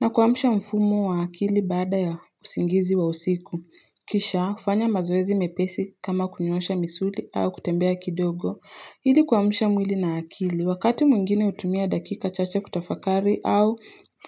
na kuamsha mfumo wa akili baada ya usingizi wa usiku. Kisha, fanya mazoezi mepesi kama kunyoosha misuli au kutembea kidogo. Ili kuamsha mwili na akili, wakati mwingine hutumia dakika chache kutafakari au